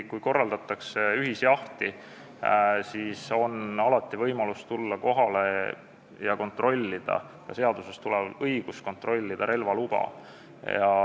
Kui korraldatakse ühisjahti, siis on alati võimalus tulla kohale ja seadusest tulenevalt on õigus kontrollida relvaluba.